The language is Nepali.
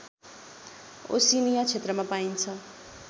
ओशिनिया क्षेत्रमा पाइन्छ